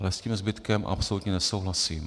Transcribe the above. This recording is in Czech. Ale s tím zbytkem absolutně nesouhlasím.